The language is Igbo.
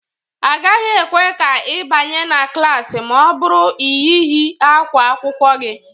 A gaghị ekwe ka ị banye na klaasị ma ọ bụrụ ị yighị ákwá akwụkwọ gị